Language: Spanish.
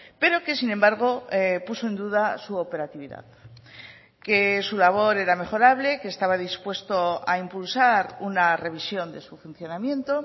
pero que sin embargo puso en duda su operatividad que su labor era mejorable que estaba dispuesto a impulsar una revisión de su funcionamiento